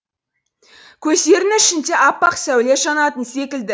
көздерінің ішінде аппақ сәуле жанатын секілді